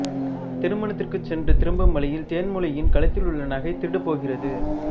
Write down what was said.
திருமணத்திற்குச் சென்று திரும்பும் வழியில் தேன்மொழியின் கழுத்திலுள்ள நகை திருடுபோகிறது